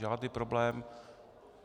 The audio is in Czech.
Žádný problém.